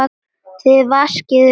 Þið vaskið upp í kvöld